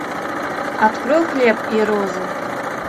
открой хлеб и розы